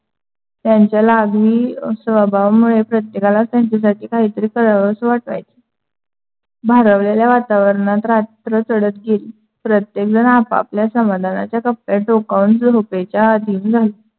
त्यांच्या लाघवी स्वभावामुळे प्रत्येकांला त्यांच्या सारख काही कारावास वाटायच. भारावलेल्या वातावरणात रात्र चढत गेली. प्रत्येकजण आपापल्या समाधानाच्या कप्यात डोकावून झोपेत अधीन झाली.